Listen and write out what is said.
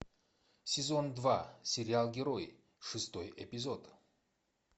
сезон два сериал герои шестой эпизод